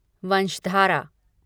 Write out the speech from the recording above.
Vamsadhara